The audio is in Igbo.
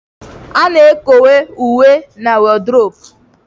A na-ekowe uwe na wodrobu.